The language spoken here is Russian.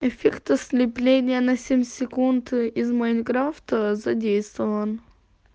эффект ослепления на семь секунд из майнкрафта задействован